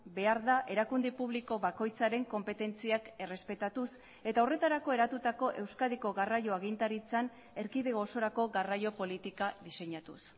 behar da erakunde publiko bakoitzaren konpetentziak errespetatuz eta horretarako eratutako euskadiko garraio agintaritzan erkidego osorako garraio politika diseinatuz